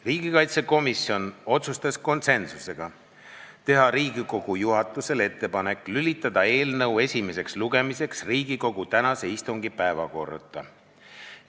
Riigikaitsekomisjon otsustas konsensusega teha Riigikogu juhatusele ettepaneku lülitada eelnõu esimeseks lugemiseks Riigikogu tänase istungi päevakorda.